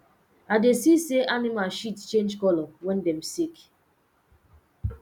i dey see say animal shit change color when dem sick